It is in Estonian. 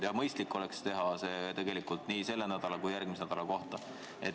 Ja mõistlik oleks teha see nii selle nädala kui järgmise nädala kohta.